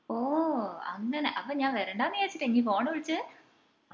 ഓഹ് അങ്ങനെ അപ്പൊ ഞാൻ വരണ്ടാന്ന് വിചാരിച്ചിട്ടാ ഇഞ് phone വിളിച്ചേ